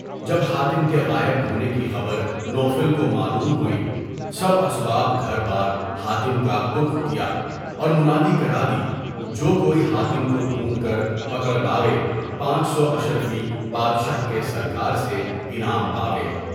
جب حاتم کے غائب ہونے کی خبر نو فل کو معلوم ہوئی، سب اسباب گھربار حاتم کا پُرخ کیا اور منادی کرادی کہ جو کوئی حاتم کو ڈھونڈ کر پکڑ لاوے، پانچ سو اشرفی بادشاہ کے سرکار سے انعام پاوے۔